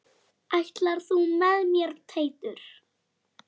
Ætlar þú með mér Teitur!